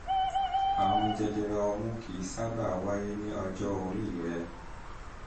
àrùn jẹjẹrẹ ọmú kì kì í sábà wáyé ní ọjọ́ orí rẹ